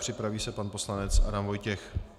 Připraví se pan poslanec Adam Vojtěch.